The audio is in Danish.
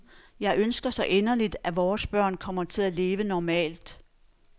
Jeg ønsker så inderligt, at vores børn kommer til at leve normalt.